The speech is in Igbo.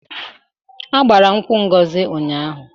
A gbara nkwụ Ngozi ụnyaahụ.